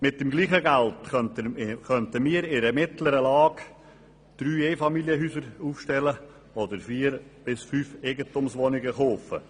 Mit dem gleichen Geld könnten wir in einer mittleren Lage drei Einfamilienhäuser aufstellen oder vier bis fünf Eigentumswohnungen kaufen.